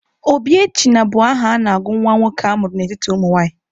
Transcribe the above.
Obiechina bụ aha a na-agụ nwa nwoke a mụrụ n'etiti ụmụnwaanyị.